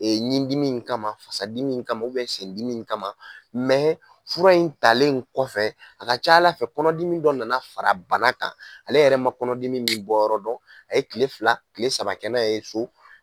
Ɲidimi in kama fasa dimi in kama sen dimi in kama fura in talen in kɔfɛ a ka ca Ala fɛ kɔnɔdimi dɔ nana fara bana kan ale yɛrɛ man kɔnɔdimi min bɔ yɔrɔ dɔn a ye kile fila kile saba kɛ n'a ye so.